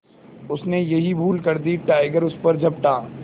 उसने यही भूल कर दी टाइगर उस पर झपटा